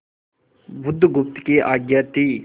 बुधगुप्त की आज्ञा थी